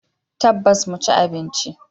Tabbas, mu ci abinci.